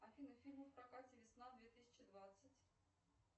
афина фильмы в прокате весна две тысячи двадцать